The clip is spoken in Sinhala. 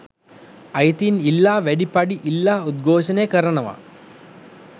අයිතීන් ඉල්ලා වැඩි පඩි ඉල්ලා උද්ඝෝශනය කරනවා